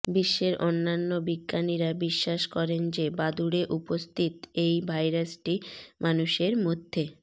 বিশ্বের অন্যান্য বিজ্ঞানীরা বিশ্বাস করেন যে বাদুড়ে উপস্থিত এই ভাইরাসটি মানুষের মধ্যে